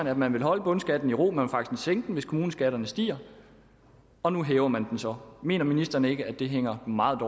at man vil holde bundskatten i ro at man faktisk vil sænke den hvis kommuneskatterne stiger og nu hæver man den så mener ministeren ikke at det hænger meget